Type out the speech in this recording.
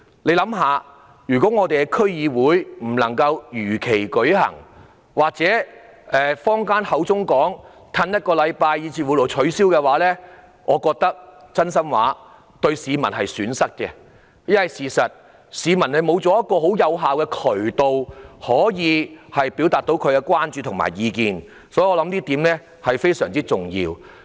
試想想，如果區議會選舉未能如期舉行，或是如坊間所說要押後一星期甚至取消，我覺得是市民的損失，因為市民失去了有效的渠道表達他們的關注和意見，這是非常重要的。